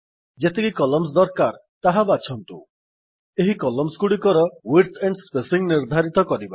ଯେତିକି କଲମ୍ସ ଦରକାର ତାହା ବାଛନ୍ତୁ ଏହି କଲମ୍ସ ଗୁଡିକର ୱିଡ୍ଥ ଆଣ୍ଡ୍ ସ୍ପେସିଂ ନିର୍ଦ୍ଧାରିତ କରିବା